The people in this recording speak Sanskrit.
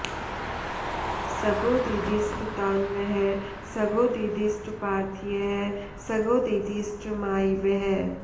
स॒द्यो दि॑दिष्ट॒ तान्वः॑ स॒द्यो दि॑दिष्ट पा॒र्थ्यः स॒द्यो दि॑दिष्ट माय॒वः